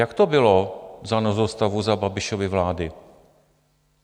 Jak to bylo za nouzového stavu za Babišovy vlády?